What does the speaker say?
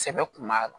Sɛbɛ kun b'a la